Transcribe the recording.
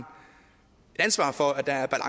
ansvar for at der er